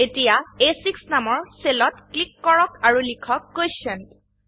এতিয়া আ6 নামৰ সেলত ক্লিক কৰক আৰু লিখক কোটিয়েণ্ট